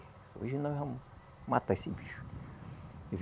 Hoje nós vamos matar esse bicho.